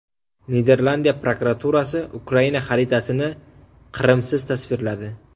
Niderlandiya prokuraturasi Ukraina xaritasini Qrimsiz tasvirladi.